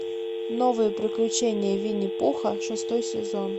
новые приключения винни пуха шестой сезон